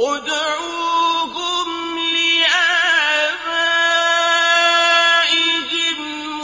ادْعُوهُمْ لِآبَائِهِمْ